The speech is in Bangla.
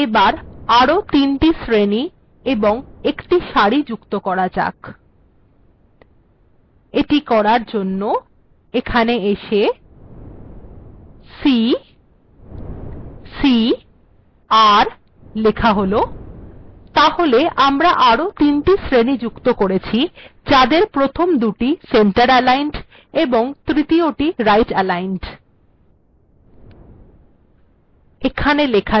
এবার আরো তিনটি শ্রেণী এবং একটি সারি যুক্ত করা যাক এটি করার জন্য এখানে এসে ccr লেখা হল তাহলে আমরা আরো তিনটি শ্রেণী যুক্ত করেছি যাদের প্রথম দুটি সেন্টার aligned এবং তৃতীয়টি রাইট aligned